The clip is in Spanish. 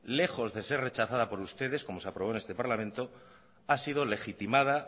lejos de ser rechazada por ustedes como se aprobó en este parlamento ha sido legitimada